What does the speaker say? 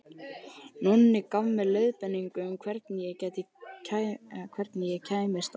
Nonni gaf mér leiðbeiningar um hvernig ég kæmist á